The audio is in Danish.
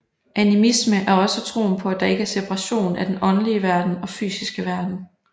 Animisme er også troen på at der ikke er separation af den åndelige verden og fysiske verden